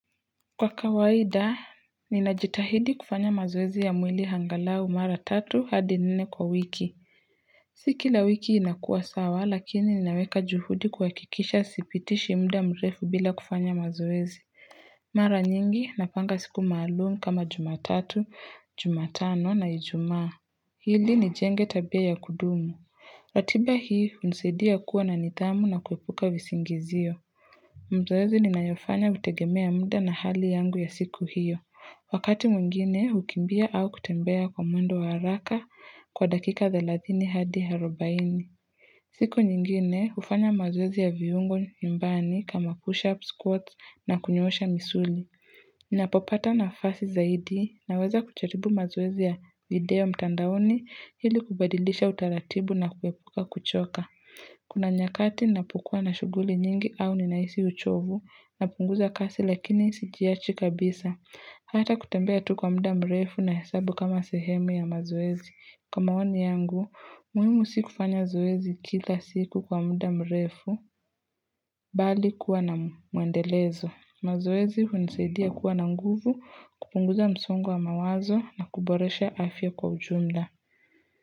Kwa kawaida, ninajitahidi kufanya mazoezi ya mwili angalau mara tatu hadi nene kwa wiki. Si kila wiki inakua sawa lakini ninaweka juhudi kuhakikisha sipitishi mda mrefu bila kufanya mazoezi. Mara nyingi, napanga siku maalumu kama jumatatu, jumatano na ijuma. Hili ni jenge tabia ya kudumu. Ratiba hii, msidia kuwa na nitamu na kuepuka visingizio. Mzoezi ninayofanya hutegemea munda na hali yangu ya siku hiyo. Wakati mwingine hukimbia au kutembea kwa mwendo haraka kwa dakika therathini hadi arobaini. Siku nyingine ufanya mazoezi ya viungo nyumbani kama push up squats na kunyosha misuli. Ninapopata nafasi zaidi naweza kujaribu mazoezi ya video mtandaoni hili kubadilisha utaratibu na kuepuka kuchoka. Kuna nyakati napukua na shuguli nyingi au ninaisi uchovu na punguza kazi lakini sijiyachi kabisa. Hata kutambia tu kwa muda mrefu na hesabu kama sehemu ya mazoezi. Kamaoni yangu, muhimu si kufanya zoezi kila siku kwa muda mrefu bali kuwa na muendelezo. Mazoezi unisaidia kuwa na nguvu kupunguza msungu wa mawazo na kuboresha afya kwa ujumla.